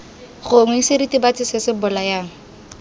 gongwe seritibatsi se se bolayang